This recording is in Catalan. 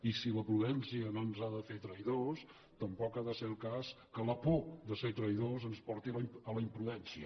i si la prudència no ens ha de fer traïdors tampoc ha de ser el cas que la por de ser traïdors ens porti a la imprudència